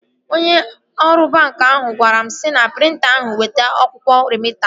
Onye ọrụ banki ahụ gwara m sị na prịnta ahụ weta akwụkwọ remịta m